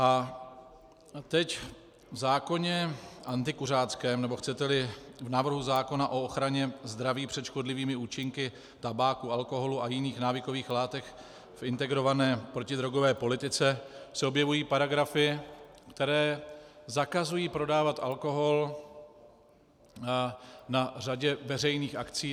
A teď v zákoně antikuřáckém, nebo chcete-li v návrhu zákona o ochraně zdraví před škodlivými účinky tabáku, alkoholu a jiných návykových látek, v integrované protidrogové politice se objevují paragrafy, které zakazují prodávat alkohol na řadě veřejných akcí.